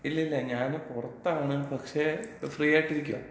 ഇല്ലില്ല, ഞാന് പൊറത്താണ് പക്ഷേ, ഫ്രീയായിട്ടിരിക്ക്യാ.